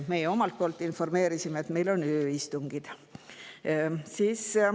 Meie omalt poolt informeerisime, et meil on ööistungid.